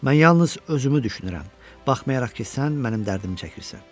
Mən yalnız özümü düşünürəm, baxmayaraq ki, sən mənim dərdimi çəkirsən.